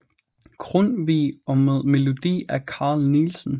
Grundtvig og med melodi af Carl Nielsen